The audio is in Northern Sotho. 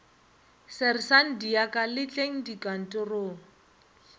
sersanta kadiaka le tleng dikantorong